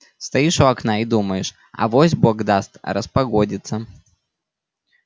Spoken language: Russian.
стоишь у окна и думаешь авось бог даст распогодится